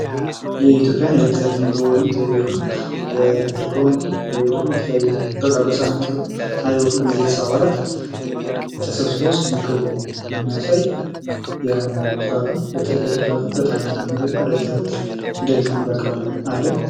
የኢትዮጵያ ኑሮ የለት ከለት ዘይቤ የሆነው የእርጎን ወይም በቃ በሰሀን የሚቀርቡ የቤተሰብ አባላት ተሰብስበው ሲመገቡ የሚያሳይ አመጋገብ ስርዓት ነው። በኢትዮጵያ ህዝብም በጣም የተለመደና ዕለት እለት እንዲህ አይነት አመጋገብ አለን።